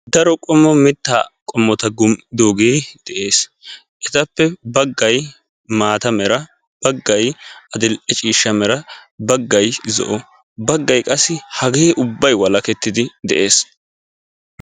daro qommo mitta qommota gum"idooge de'ees; etappe; baggay maata mala, baggay adl"e ciishshaa bagay zo'o mera baggay qassi hage ubbay walakettidi de'ees.